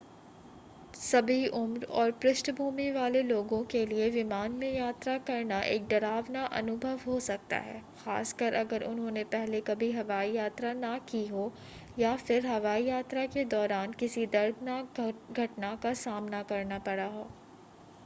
सभी उम्र और पृष्ठभूमि वाले लोगों के लिए विमान में यात्रा करना एक डरावना अनुभव हो सकता है खास कर अगर उन्होंने पहले कभी हवाई यात्रा न की हो या फिर हवाई यात्रा के दौरान किसी दर्दनाक घटना का सामना करना पड़ा हो